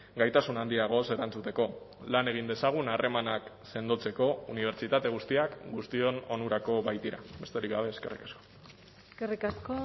gaitasun handiagoz erantzuteko lan egin dezagun harremanak sendotzeko unibertsitate guztiak guztion onurako baitira besterik gabe eskerrik asko eskerrik asko